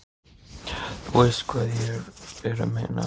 Þú veist hvað ég er að meina.